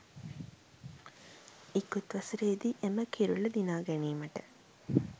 ඉකුත් වසරේදී එම කිරුළ දිනා ගැනීමට